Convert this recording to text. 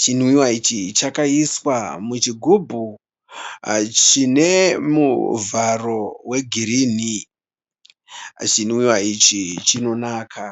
Chinwiwa ichi chakaiswa muchigubhu chine muvharo wegirini. Chinwiwa ichi chinonaka.